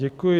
Děkuji.